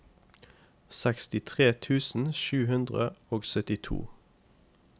sekstitre tusen sju hundre og syttito